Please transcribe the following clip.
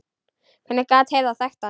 Hvernig gat Heiða þekkt hann?